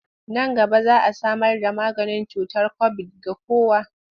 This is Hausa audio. Nan gaba za a samarda maganin cutar kobid ga kowa.